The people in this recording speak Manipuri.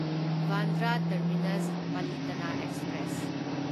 Bandra terminus Palitana express